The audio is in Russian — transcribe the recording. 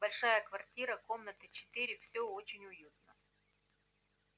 большая квартира комнаты четыре всё очень уютно